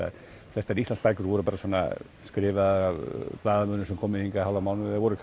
flestar Íslandsbækur voru bara svona skrifaðar af blaðamönnum sem komu hingað í hálfan mánuð eða voru